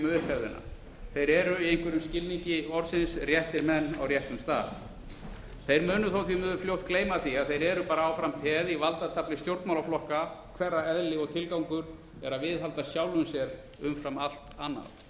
upphefðina þeir eru í einhverjum skilningi orðsins réttir menn á réttum stað þeir munu þó því miður fljótt gleyma því að þeir eru bara áfram peð í valdatafli stjórnmálaflokka hverra eðli og tilgangur er að viðhalda sjálfum sér umfram allt annað